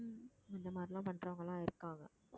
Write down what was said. அந்த மாதிரிலாம் பண்றவங்கலாம் இருக்காங்க